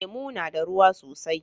Lemu na da ruwa sosai.